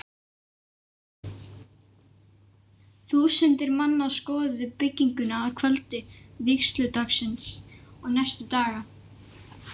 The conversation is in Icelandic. Þúsundir manna skoðuðu bygginguna að kvöldi vígsludagsins og næstu daga.